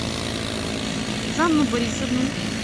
жанну борисовну